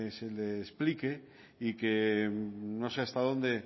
se le explique y que no sé hasta dónde